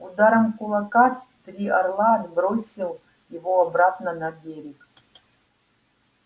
ударом кулака три орла отбросил его обратно на берег